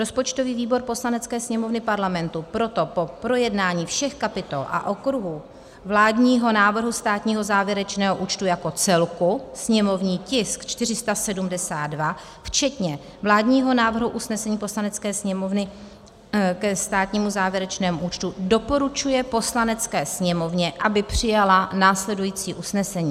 Rozpočtový výbor Poslanecké sněmovny Parlamentu proto po projednání všech kapitol a okruhů vládního návrhu státního závěrečného účtu jako celku, sněmovní tisk 472, včetně vládního návrhu usnesení Poslanecké sněmovny ke státnímu závěrečnému účtu doporučuje Poslanecké sněmovně, aby přijala následující usnesení: